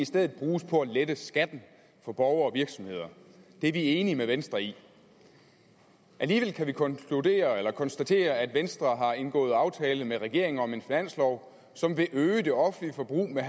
stedet bruges på at lette skatten for borgere og virksomheder det er vi enige med venstre i alligevel kan vi konstatere at konstatere at venstre har indgået aftale med regeringen om en finanslov som vil øge det offentlige forbrug med